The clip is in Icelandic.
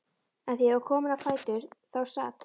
En þegar ég var komin á fætur þá sat